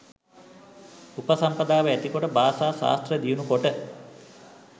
උපසම්පදාව ඇතිකොට භාෂා ශාස්ත්‍ර දියුණුකොට